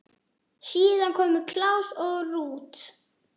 Síðar komu Claus og Ruth.